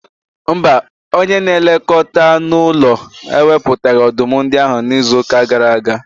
Mba, onye na-elekọta anụ ụlọ ewepụtaghị ọdụm ndị ahụ n'izu gara aga.